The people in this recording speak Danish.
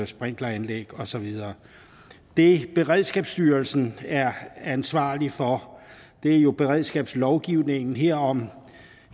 sprinkleranlæg og så videre det beredskabsstyrelsen er ansvarlig for er jo beredskabslovgivningen herunder